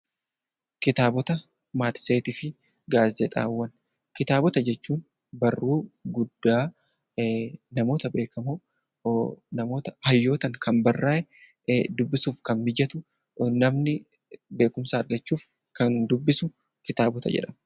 Kitaabota, Matseetii fi Gaazexaawwan: Kitaabota jechuun barruu guddaa namoota beekamoon, hayyootaan kan barraa'e, dubbisuuf kan mijatu, namni beekumsa argachuuf kan dubbisu kitaabota jedhama.